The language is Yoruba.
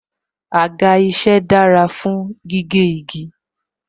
Àga isẹ dára fún gígé igi